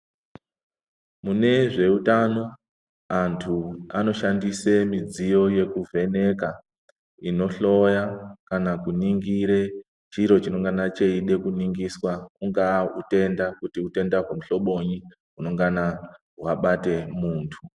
Muzveutano antu anoshandise midziyo yekuvheneka, inohloya kana kuningire chiro chinongana cheida kuningiswa ungaa utenda kuti utenda wehlobonyi unengana wabate muntu.